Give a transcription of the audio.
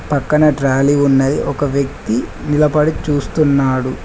పక్కన ట్రాలీ ఉన్నది ఒక వ్యక్తి నిలపడి చూస్తున్నాడు.